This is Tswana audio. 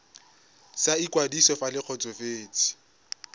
sa ikwadiso fa le kgotsofetse